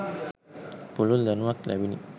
පුළුල් දැනුමක්‌ ලැබිණි.